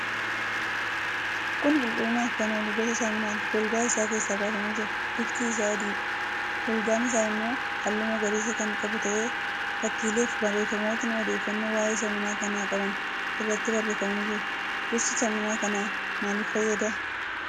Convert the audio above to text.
Kun qulqullinaaf kan oolu gosa saamunaati. Golgaa isaa keessaa bafamee jira. Bifti isaa adiidha. Golgaan isaa immoo halluu magariisa kan qabu ta'ee fakkiileefi barreeffamootni odeeffannoo waa'ee saamunaa kanaa qaban irratti barreeffamanii jiru. Gosti saamunaa kanaa maaliif fayyada?